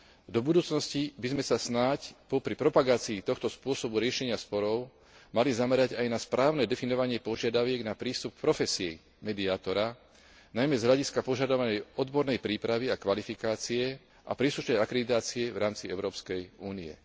Do budúcnosti by sme sa snáď popri propagácii tohto spôsobu riešenia sporov mali zamerať aj na správne definovanie požiadaviek na prístup k profesii mediátora, najmä z hľadiska požadovanej odbornej prípravy a kvalifikácie a príslušnej akreditácie v rámci Európskej únie.